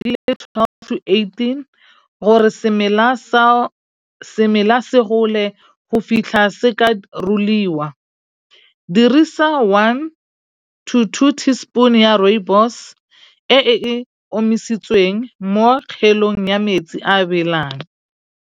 twelve two eighteen gore semela semela se gole go fihla se ka ruliwa. Dirisa one to two teaspoon ya rooibos e e omisitsweng mo kgelong ya metsi a belang.